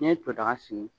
N'i ye to daga sigi